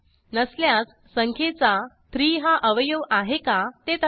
नसल्यास संख्येचा 3हा अवयव आहे का ते तपासा